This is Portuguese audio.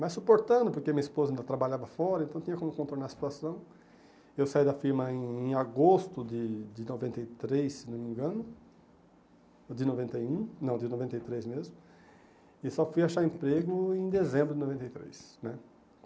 Mas suportando, porque minha esposa ainda trabalhava fora, então tinha como contornar a situação, eu saí da firma em em agosto de de noventa e três, se não me engano, de noventa e um, não, de noventa e três mesmo, e só fui achar emprego em dezembro de noventa e três, né?